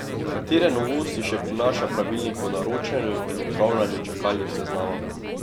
Katere novosti še prinaša pravilnik o naročanju in upravljanju čakalnih seznamov?